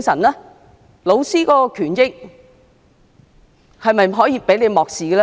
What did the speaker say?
教師的權益又是否可以被漠視呢？